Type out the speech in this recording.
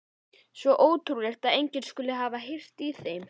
Svo ótrúlegt að enginn skuli hafa heyrt í þeim.